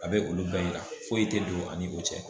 A bɛ olu bɛɛ yira foyi tɛ don ani o cɛ.